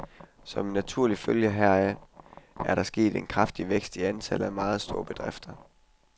Som en naturlig følge heraf er der sket en kraftig vækst i antallet af meget store bedrifter.